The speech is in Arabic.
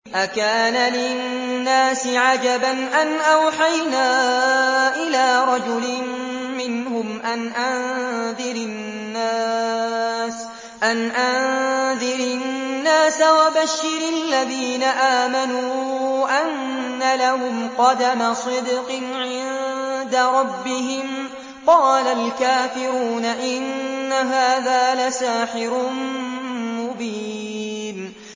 أَكَانَ لِلنَّاسِ عَجَبًا أَنْ أَوْحَيْنَا إِلَىٰ رَجُلٍ مِّنْهُمْ أَنْ أَنذِرِ النَّاسَ وَبَشِّرِ الَّذِينَ آمَنُوا أَنَّ لَهُمْ قَدَمَ صِدْقٍ عِندَ رَبِّهِمْ ۗ قَالَ الْكَافِرُونَ إِنَّ هَٰذَا لَسَاحِرٌ مُّبِينٌ